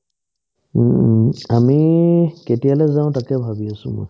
উম্, আমি কেতিয়ালে যাও তাকে ভাৱি আছো